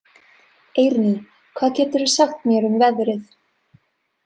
Eirný, hvað geturðu sagt mér um veðrið?